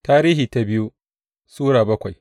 biyu Tarihi Sura bakwai